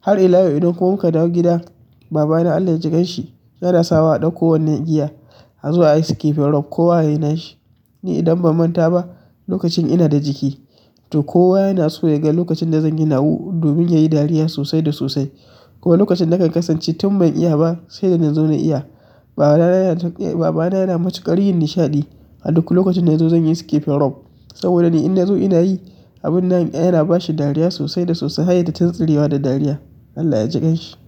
Har ila yau idan ko muka dawo gida, baba na Allah ya jikanshi, yana sawa a ɗauko wannan igiya a zo ayi skipping rope ko wa yayi na shi. Ni idan ban manta ba, lokacin ina da jiki to kowa yana so ya ga lokacin da zan yi nawa domin yayi dariya sosai da sosai. Kuma lokacin na kan kasance tun ban iya ba, sai da na zo na iya. Baba na yana, eh baba na yana matuƙar yin nishaɗi a duk lokacin da ya zo zan yi skipping rope. Saboda ni idan na zo ina yi, abun nan yana bashi dariya sosai da sosai har yaita tintsirewa da dariya. Allah ya jikanshi.